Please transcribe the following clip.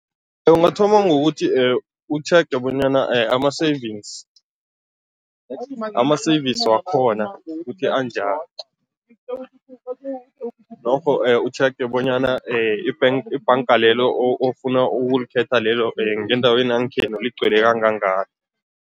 Ungathoma ngokuthi utjhege bonyana ama-savings ama-service wakhona ukuthi anjani, norho utjhege bonyana i-bank ibhanga lelo ofuna ukulikhetha lelo ngendaweni yangekhenu ligcwele kangangani.